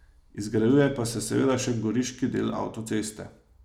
Izgrajuje pa se seveda še goriški del avtoceste.